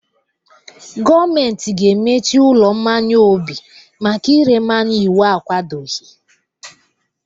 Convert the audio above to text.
Gọọmenti ga-emechi ụlọ mmanya Obi maka ire mmanya iwu akwadoghi.